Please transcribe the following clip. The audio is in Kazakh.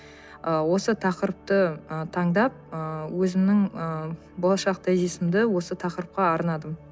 ы осы тақырыпты ы таңдап ы өзімнің ы болашақ тезисімді осы тақырыпқа арнадым